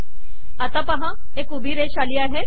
आता पहा एक उभी रेष आली